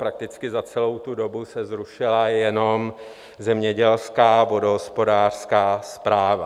Prakticky za celou tu dobu se zrušila jenom Zemědělská vodohospodářská správa.